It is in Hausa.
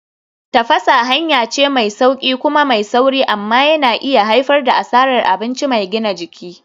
Tafasa hanya ce mai sauƙi kuma mai sauri amma yana iya haifar da asarar abinci mai gina jiki.